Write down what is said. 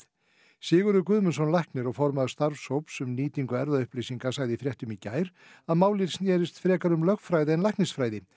Sigurður Guðmundsson læknir og formaður starfshóps um nýtingu erfðaupplýsinga sagði í fréttum í gær að málið snérist frekar um lögfræði en læknisfræði